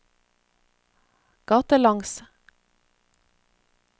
gatelangs